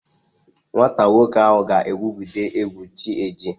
Nwata nwoke ahụ ga-egwugide egwu chi ejie